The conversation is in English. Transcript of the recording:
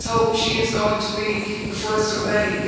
Let's hope she is going to be the first of many.